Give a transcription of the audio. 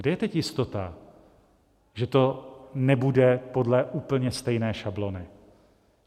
Kde je teď jistota, že to nebude podle úplně stejné šablony?